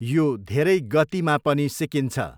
यो धेरै गतिमा पनि सिकिन्छ।